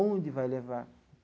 Onde vai levar?